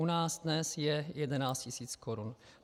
U nás dnes je 11 tis. korun.